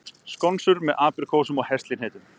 Skonsur með apríkósum og heslihnetum